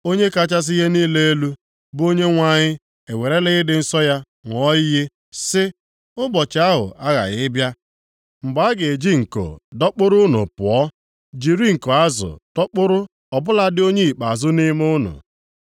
Onye kachasị ihe niile elu, bụ Onyenwe anyị ewerela ịdị nsọ ya ṅụọ iyi, sị, “Ụbọchị ahụ aghaghị ịbịa mgbe a ga-eji nko dọkpụrụ unu pụọ; jiri nko azụ dọkpụrụ ọ bụladị onye ikpeazụ nʼime unu.